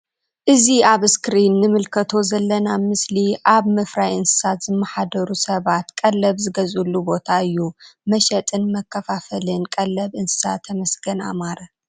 እዚ ኣብ እስክሪን እንምልከቶ ዘለና ምስሊ ኣብ ምፍራይ እንስሳ ዝመሓደሩ ሰባት ቀልብ ዝገዝእሉ ቦታ እዩ ።መሸጥን መከፋፈልን ቀልብ እንስሳ ተመስገን ኣማረ።